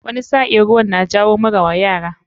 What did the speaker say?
Wani sa'in ruwan na jawo mura wa yara.